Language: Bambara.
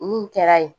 Mun kɛra yen